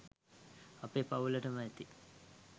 අපේ පවුලටම ඇති